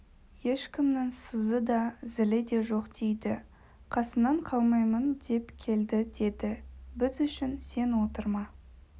ешкімнің сызы да зілі де жоқ дейді қасынан қалмаймын деп келді деді біз үшін сен отырма